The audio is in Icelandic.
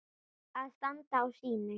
Að standa á sínu